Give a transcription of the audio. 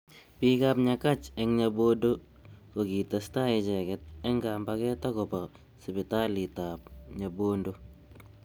Bik ab Nyakach eng Nyabodo kokitestai icheket eng kambaget akobo sipitalit ab Nyabondo.